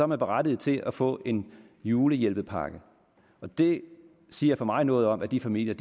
man berettiget til at få en julehjælpepakke det siger for mig noget om at de familier